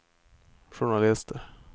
journalister